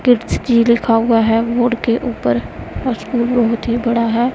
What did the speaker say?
Kidzy लिखा हुआ है बोर्ड के ऊपर स्कूल बहुत ही बड़ा है।